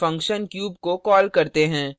फिर हम function cube को कॉल करते हैं